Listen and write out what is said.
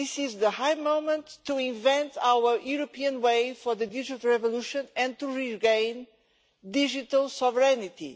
This is the right moment to invent our European way for the digital revolution and to regain digital sovereignty.